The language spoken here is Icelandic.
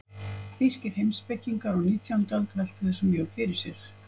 Þýskir heimspekingar á nítjándu öld veltu þessu mjög fyrir sér.